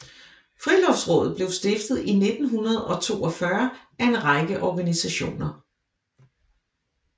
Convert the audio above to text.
Friluftsrådet blev stiftet i 1942 af en række organisationer